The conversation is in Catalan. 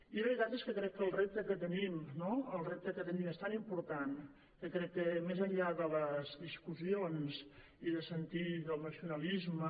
i la veritat és que crec que el repte que tenim és tan important que crec que més enllà de les discussions i de sentir que el nacionalisme